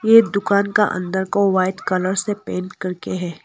ये दुकान का अंदर को व्हाइट कलर से पेंट करके है।